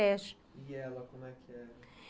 E ela, como é que é?